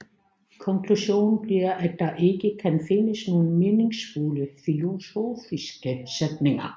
Konklusionen bliver at der ikke kan findes nogen meningsfulde filosofiske sætninger